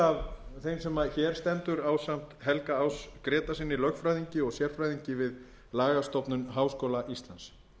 á hér stendur ásamt helga áss grétarssyni lögfræðingi og sérfræðingi við lagastofnun háskóla íslands